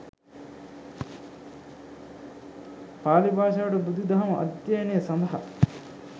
පාලි භාෂාවට බුදුදහම අධ්‍යයනය සඳහා